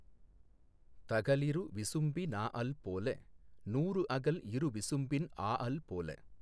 தகலிரு விசும்பி னாஅல் போல நூறு அகல் இரு விசும்பின் ஆஅல் போல